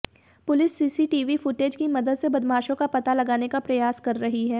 police CCTV footage की मदद से बदमाशों का पता लगाने का प्रयास कर रही है